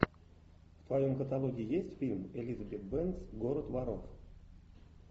в твоем каталоге есть фильм элизабет бэнкс город воров